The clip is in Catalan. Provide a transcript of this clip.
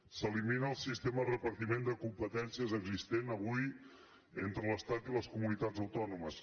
s’elimina el sistema de repartiment de competències existent avui entre l’estat i les comunitats autònomes